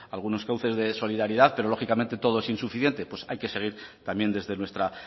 algunos cauces de solidaridad pero lógicamente todo es insuficiente pues hay que seguir también desde nuestra